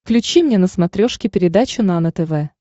включи мне на смотрешке передачу нано тв